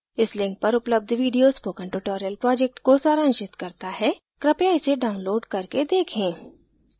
इस link पर उपलब्ध video spoken tutorial project को सारांशित करता है कृपया इसे download करके देखें